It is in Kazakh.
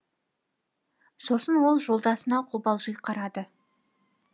сосын ол жолдасына қобалжи қарады